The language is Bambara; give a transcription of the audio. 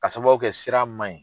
Ka sababu kɛ sira man ɲi.